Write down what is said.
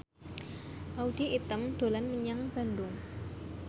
Audy Item dolan menyang Bandung